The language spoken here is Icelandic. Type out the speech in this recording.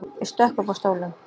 Ég stökk upp af stólnum.